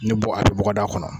Ni bɔ a kɛ bɔgɔda kɔnɔ.